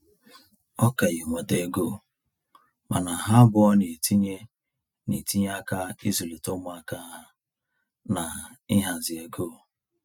Ọ ka ya enweta ego, mana ha abụọ na-etinye na-etinye aka izulita umuaka ha na ịhazi ego